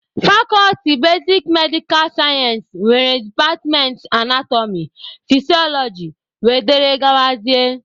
Fakọlti basik medikal sayensị nwere departmentị anatọmị, fisiọlọji wdg.